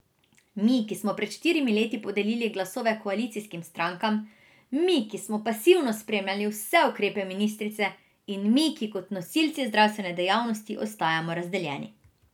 Mi, ki smo pred štirimi leti podelili glasove koalicijskim strankam, mi, ki smo pasivno spremljali vse ukrepe ministrice, in mi, ki kot nosilci zdravstvene dejavnosti ostajamo razdeljeni.